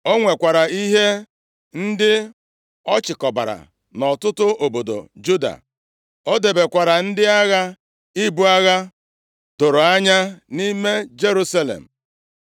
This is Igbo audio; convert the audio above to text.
O nwekwara ihe ndị ọ chịkọbara nʼọtụtụ obodo Juda. O debekwara ndị agha ibu agha doro anya nʼime Jerusalem.